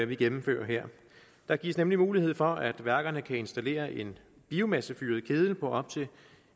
vi gennemfører her der gives nemlig mulighed for at værkerne kan installere en biomassefyret keddel på op til